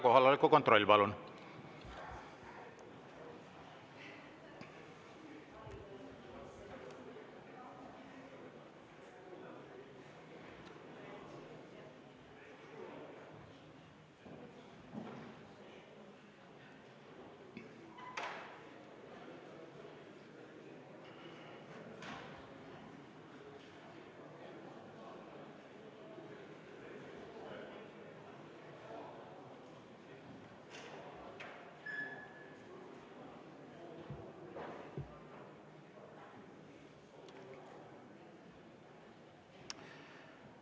Kohaloleku kontroll, palun!